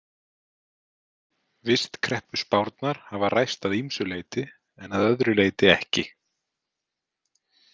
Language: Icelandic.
Vistkreppuspárnar hafa ræst að ýmsu leyti en að öðru leyti ekki.